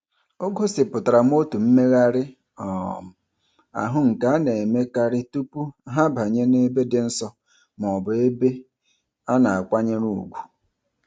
O gosipụtara otu mmegharị um ahụ nke a na-emekarị tụpụ ha banye n'ebe dị nsọ mọọbụ ebe a na-akwanyere ùgwù.